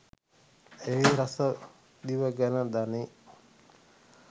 එහි රස දිව දැන ගනී.